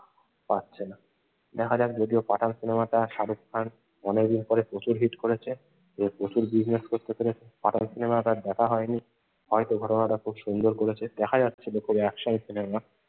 পারছে না দেখা যাক যদিও পাঠান সিনেমাটা শাহরুখ খান অনেক দিন পরে প্রচুর হিট করেছে, প্রচুর Business করতে পেরেছে পাঠান সিনেমাটা আর দেখা হযনি। হয়তো ঘটনাটা খুব সুন্দর করেছে, দেখা যাক action সিনেমা।